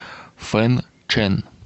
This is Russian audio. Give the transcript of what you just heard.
фэнчэн